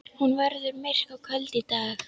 Hún verður myrk og köld í dag.